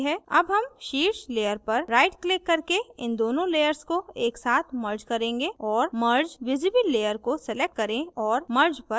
अब हम शीर्ष layer पर right click करके इन दोनों layers को एक साथ merge करेंगे और merge visible layer को select करें और merge पर click करें